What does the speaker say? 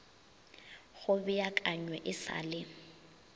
go beakanywe e sa le